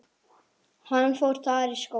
Hann fór þar í skóla.